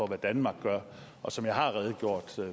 hvad danmark gør og som jeg har redegjort